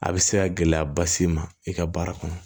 A bɛ se ka gɛlɛyaba s'i ma i ka baara kɔnɔ